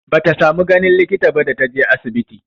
Bata samu ganin likita ba da ta je asibiti.